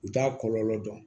U t'a kɔlɔlɔ dɔn